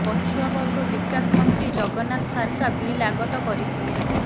ପଛୁଆବର୍ଗ ବିକାଶ ମନ୍ତ୍ରୀ ଜଗନ୍ନାଥ ସାରକା ବିଲ ଆଗତ କରିଥିଲେ